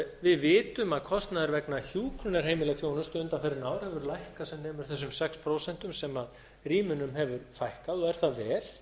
við vitum að kostnaður vegna hjúkrunarheimilaþjónustu undanfarin ár hefur lækkað sem nemur þessum sex prósent sem rýmunum hefur fækkað og er það vel